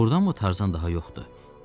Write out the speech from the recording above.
Doğrudanmı Tarzan daha yoxdur?